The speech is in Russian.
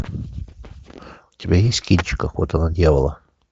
у тебя есть кинчик охота на дьявола